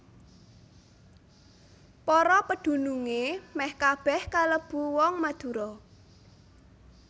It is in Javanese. Para pedunungé mèh kabèh kalebu wong Madura